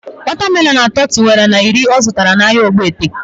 Wata melonu atọ tiwara na iri ọ zụtara na ahịa Ogbete